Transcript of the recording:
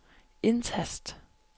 indtast